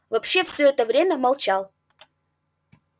вообще все это время молчал